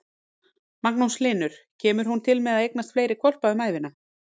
Magnús Hlynur: Kemur hún til með að eignast fleiri hvolpa um ævina?